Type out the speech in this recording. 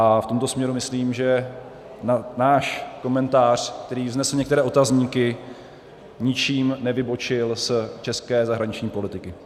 A v tomto směru myslím, že náš komentář, který vznesl některé otazníky, ničím nevybočil z české zahraniční politiky.